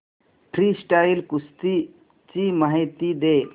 freestyle कुस्ती ची माहिती दे